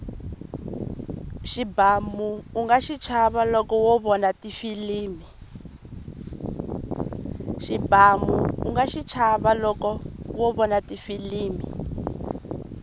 xibamu unga xichava loko wo vona tifilimi